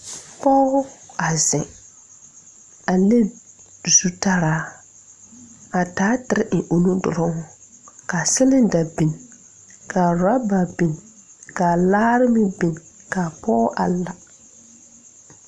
Kɔg a zeŋ a le zutaraa a taa tire eŋ o nu duruŋ kaa siliŋda biŋ kaa rɔba biŋ kaa laare meŋ biŋ kaa pɔɔ a la.